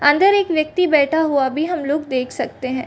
अंदर एक व्यक्ति बैठा हुआ भी हम लोग देख सकते हैं ।